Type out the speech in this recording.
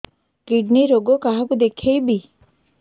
kidney ରୋଗ କାହାକୁ ଦେଖେଇବି